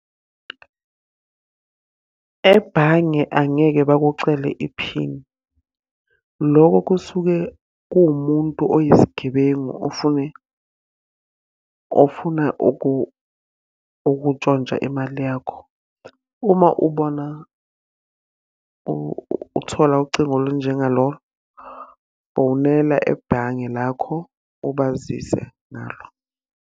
Ebhange angeke bakucele iphini. Loko kusuke kuwumuntu oyisigebengu ofune ofuna ukutshontsha imali yakho. Uma ubona, uthola ucingo olunjenga lolo, fowunela ebhange lakho ubazise ngalo.